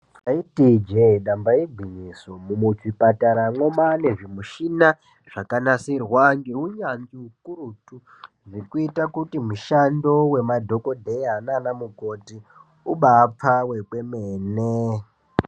Taiti ijee damba igwinyiso muzvipataramwo mwane zvimushina zvakanasirwa ngeunyanzvi ukurutu kuita kuti mushando wemadhokodheya nana mukoti ubapfave kwemene.